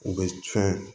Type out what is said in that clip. U bɛ cɛn